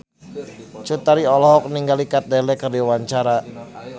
Cut Tari olohok ningali Kat Dahlia keur diwawancara